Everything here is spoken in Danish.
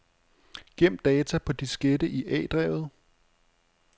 Gem data på diskette i A-drevet.